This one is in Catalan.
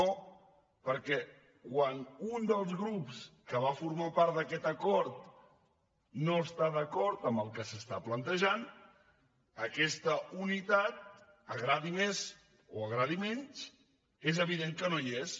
no perquè quan un dels grups que va formar part d’aquest acord no està d’acord amb el que s’està plantejant aquesta unitat agradi més o agradi menys és evident que no hi és